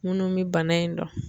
Minnu bɛ bana in dɔn